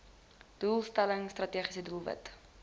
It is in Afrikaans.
doelstelling strategiese doelwit